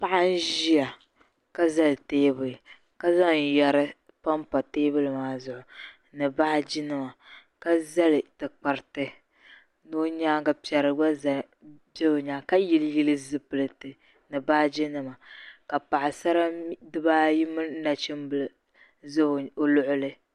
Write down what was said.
paɣa n-ʒia ka zali teebuli ka zaŋ yari pampa teebuli maa zuɣu ni baajinima ka zali tikpariti ni o nyaaŋga piɛri gba beni ka yiliyili zipiliti ni baajinima ka paɣisara bibaayi mini nachimbila za o luɣili